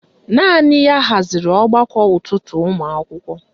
Naanị ya haziri ọgbakọ ụtụtụ ụmụakwụkwọ